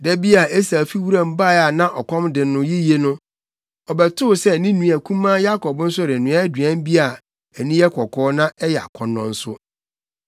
Da bi a Esau fi wuram bae a na ɔkɔm de no yiye no, ɔbɛtoo sɛ ne nua kumaa Yakob nso renoa aduan bi a ani yɛ kɔkɔɔ na ɛyɛ akɔnnɔ nso.